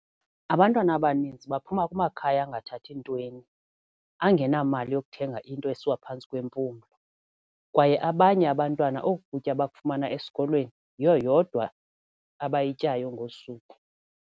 Abantwana abaninzi baphuma kumakhaya angathathi ntweni, angenamali yokuthenga into esiwa phantsi kwempumlo, kwaye abanye abantwana oku kutya bakufumana esikolweni, yiyo yodwa abayityayo ngosuku.